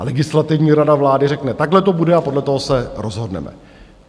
A Legislativní rada vlády řekne "takhle to bude" a podle toho se rozhodneme.